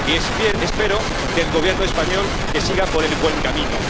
Y espero del Gobierno español que siga por el buen camino.